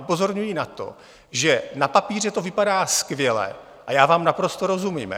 Upozorňuji na to, že na papíře to vypadá skvěle, a já vám naprosto rozumím.